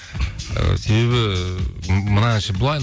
ы себебі мына әнші былай